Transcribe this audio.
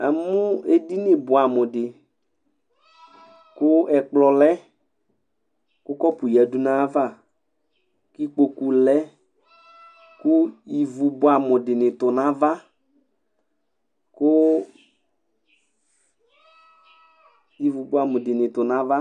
Namʋ edini bʋɛmʋ di kʋ ɛkplɔ lɛ kʋ Kɔpu yadʋ nʋ ayava kʋ ikpokʋ lɛ kʋ ivʋ bʋɛamʋ dini tu nʋ ava